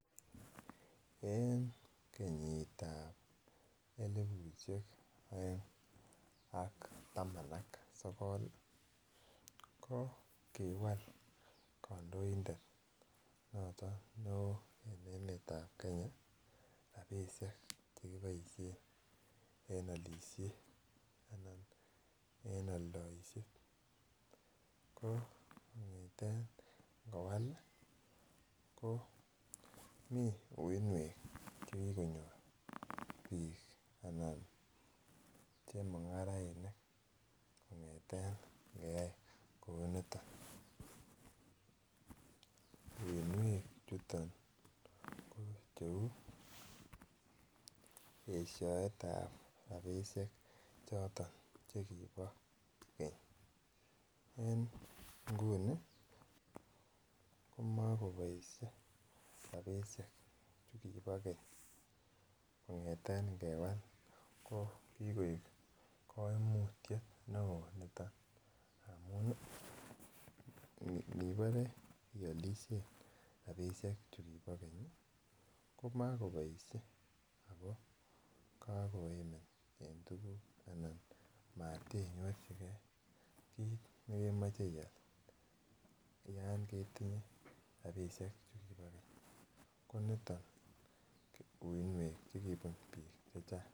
En kenyitab elipusiek aeng ak taman ak sogol ko kiwal kandoindet noton neo en emetab Kenya rabisiek Che kiboisien en alisiet anan en aldaishet ko kongeten ingowal ko mi uinwek Che kigonyor bik Anan chemungarainik kongeten ingeyai kouniton uinwek chuton ko Cheu esioetab rabisiek choton chekibo keny en nguni komakoboisie rabisiek chukibo keny kongeten ingewal ko kikoib kaimutyet neo niton amun Ibore ialisie rabisiek chukibo keny komakoboisie ako kakoimin en tuguk anan motenyorchigei kit nekemoche iyai yon ketinye rabisiek chukibo keny koniton uinwek Che kibun bik Che Chang